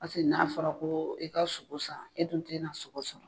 Paseke n'a fɔra ko i ka sogo san, e dun te na sogo sɔrɔ.